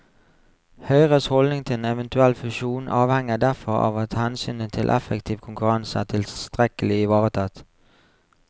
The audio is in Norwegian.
Høyres holdning til en eventuell fusjon avhenger derfor av at hensynet til effektiv konkurranse er tilstrekkelig ivaretatt.